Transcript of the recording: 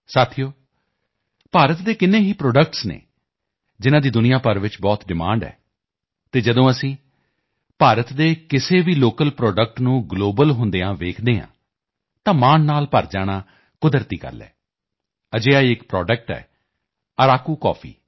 ਸਾਥੀਓ ਭਾਰਤ ਦੇ ਕਿੰਨੇ ਹੀ ਪ੍ਰੋਡਕਟਸ ਹਨ ਜਿਨ੍ਹਾਂ ਦੀ ਦੁਨੀਆ ਭਰ 'ਚ ਬਹੁਤ ਡਿਮਾਂਡ ਹੈ ਅਤੇ ਜਦੋਂ ਅਸੀਂ ਭਾਰਤ ਦੇ ਕਿਸੇ ਵੀ ਲੋਕਲ ਪ੍ਰੋਡਕਟ ਨੂੰ ਗਲੋਬਲ ਹੁੰਦੇ ਵੇਖਦੇ ਹਾਂ ਤਾਂ ਮਾਣ ਨਾਲ ਭਰ ਜਾਣਾ ਕੁਦਰਤੀ ਹੈ ਅਜਿਹਾ ਹੀ ਇੱਕ ਪ੍ਰੋਡਕਟ ਹੈ Araku Coffee